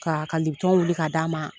Ka ka wuli k'a d'a ma